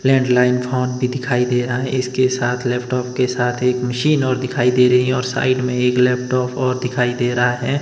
Landline phone भी दिखाई दे रहा है इसके साथ लैपटॉप के साथ एक मशीन और दिखाई दे रही है और साइड में एक लैपटॉप और दिखाई दे रहा है।